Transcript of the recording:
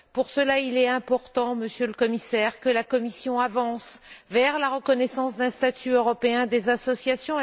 Pour cela, il est important, Monsieur le Commissaire, que la Commission avance vers la reconnaissance d'un statut européen des associations.